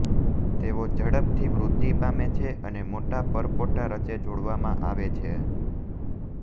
તેઓ ઝડપથી વૃદ્ધિ પામે છે અને મોટા પરપોટા રચે જોડવામાં આવે છે